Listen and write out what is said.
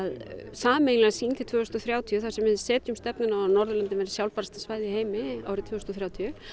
sameiginlega sýn til ársins tvö þúsund og þrjátíu þar sem við setjum stefnuna á að Norðurlöndin verði sjálfbærasta svæði í heimi árið tvö þúsund og þrjátíu